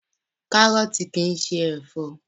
Kárọ̀tì kìí ṣe ẹ̀fọ́.